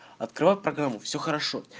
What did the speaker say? открой программу все хорошо